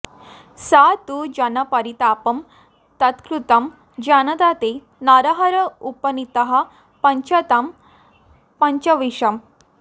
स तु जनपरितापं तत्कृतं जानता ते नरहर उपनीतः पञ्चतां पञ्चविंश